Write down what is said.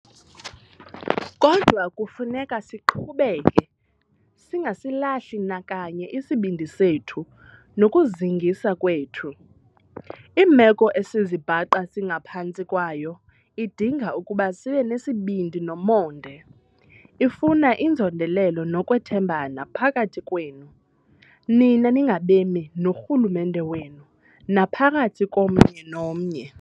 Kodwa kufuneka siqhubeke, singasilahli nakanye isibindi sethu nokuzingisa kwethu. Imeko esizibhaqa singaphantsi kwayo idinga ukuba sibe nesibindi nomonde. Ifuna inzondelelo nokuthembana phakathi kwenu, nina ningabemi, norhulumente wenu, naphakathi komnye nomnye.